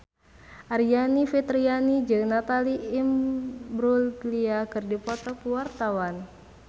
Aryani Fitriana jeung Natalie Imbruglia keur dipoto ku wartawan